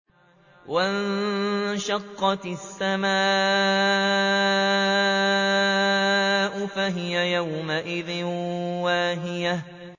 وَانشَقَّتِ السَّمَاءُ فَهِيَ يَوْمَئِذٍ وَاهِيَةٌ